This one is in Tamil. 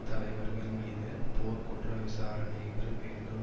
தலைவர்கள் மீது போர்க் குற்ற விசாரணைகள் வேண்டும்